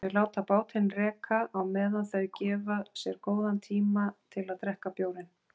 Þau láta bátinn reka á meðan þau gefa sér góðan tíma til að drekka bjórinn.